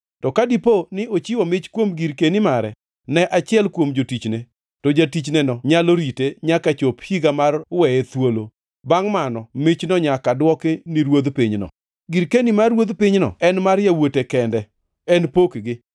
To ka dipo ni ochiwo mich kuom girkeni mare ne achiel kuom jotichne, to jatichneno nyalo rite nyaka chop higa mar weye thuolo; bangʼ mano michno nyaka dwoki ni ruodh pinyno. Girkeni mar ruodh pinyno en mar yawuote kende; en pokgi.